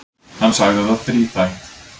Hann sagði það þríþætt.